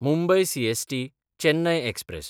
Mumbai सीएसटी–चेन्नय express